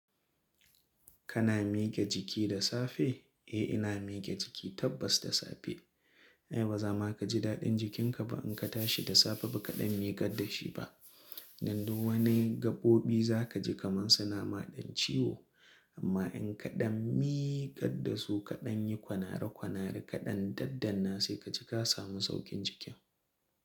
Kana miƙe jiki da safe? Eh ina miƙe jiki tabbas da safe. Ai baza ma ka ji daɗin jikinka ba in ka tashi da safe ba kaɗan miƙar da shi ba. Don duk wani gaɓoɓi za ka ji kaman suna ma ɗan ciwo. Amma in kaɗan miƙar da su kaɗan yi kwanara kwanara kaɗan daddanna sai ka ji ka samu sauƙin jikin.